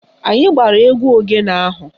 Anyị gbara egwu ogene ahụ